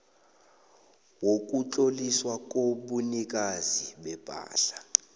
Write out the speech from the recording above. wokutloliswa kobunikazi bepahla